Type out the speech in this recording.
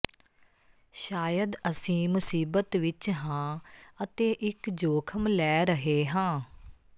ਸ਼ਾਇਦ ਅਸੀਂ ਮੁਸੀਬਤ ਵਿਚ ਹਾਂ ਅਤੇ ਇਕ ਜੋਖਮ ਲੈ ਰਹੇ ਹਾਂ